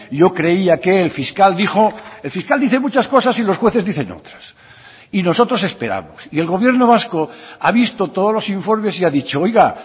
yo creía que el fiscal dijo el fiscal dice muchas cosas y los jueces dicen otras y nosotros esperamos y el gobierno vasco ha visto todos los informes y ha dicho oiga